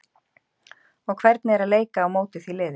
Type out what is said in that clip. og hvernig er að leika á móti því liði?